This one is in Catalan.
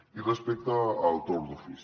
i respecte al torn d’ofici